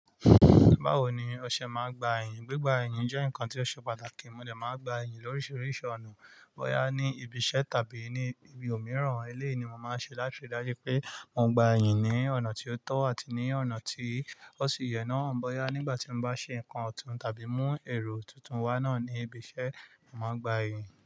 Báwo ni ọṣẹ máa gba ẹ̀yìn? Gbigba ẹ̀yìn jẹ́ nǹkan ti o ṣe pàtàkì. Mo de máa n gba ẹ̀yìn lóríṣiríṣi ọ̀nà. Bọ́yá ní ibi iṣẹ́ tàbí ní ibi òmíràn, elé ni mo máa ṣe láti ríi dájú pé mo gba ẹ̀yìn ní ọ̀nà tí ó tọ́ àti ní ọ̀nà tí ó sì yẹ náà. Bọ́yá nígbà tí mo bá ṣe nǹkan ọ̀tún tàbí mú ẹ̀rọ tuntun wá náà ní ibi iṣẹ́, màá gba ẹ̀yìn.